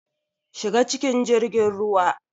Shiga cikin jirgin ruwa.